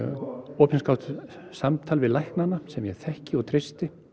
opinskátt samtal við læknana sem ég þekki og treysti